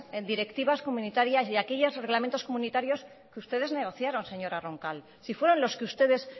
directivas comunitarias y a aquellos reglamentos comunitarios que ustedes negociaron señora roncal si fueron los que ustedes